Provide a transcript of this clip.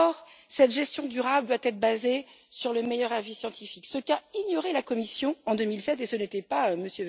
Or cette gestion durable doit être basée sur le meilleur avis scientifique, ce qu'a ignoré la Commission en 2007 et ce n'était pas M.